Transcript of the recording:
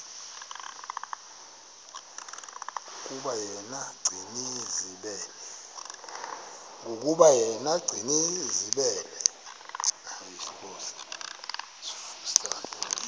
yokuba yena gcinizibele